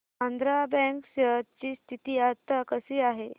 Andhra bank share ची स्थिती आता कशी आहे